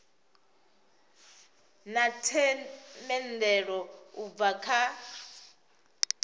na themendelo u bva kha